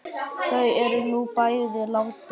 Þau eru nú bæði látin.